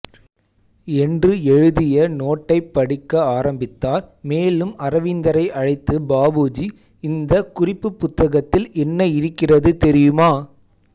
என்று எழுதிய நோட்டைப் படிக்க ஆரம்பித்தார் மேலும் அரவிந்தரை அழைத்து பாபுஜி இந்த குறிப்புப்புத்தகத்தில் என்ன இருக்கிறது தெரியுமா